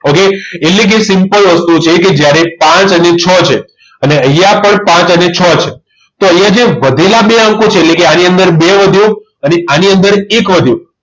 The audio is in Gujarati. Okay એટલે કે simple વસ્તુ છે કે જ્યારે પાંચ અને છ છે અને અહીંયા પણ પાંચ અને છ છે તો અહીંયા જે વધેલા બે અંકો છે એટલે કે આની અંદર બે વધ્યો અને આની અંદર એક વધ્યો